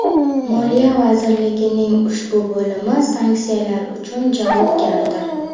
Moliya vazirligining ushbu bo‘limi sanksiyalar uchun javobgardir.